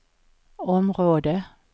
område